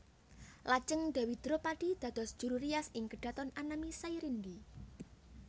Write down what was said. Lajeng Dèwi Dropadi dados juru rias ing kedhaton anami Sairindi